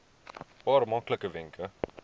paar maklike wenke